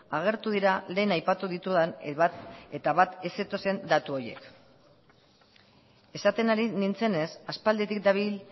agertu dira lehen aipatu ditudan bat eta bat ez zetozen datu horiek esaten ari nintzenez aspalditik dabil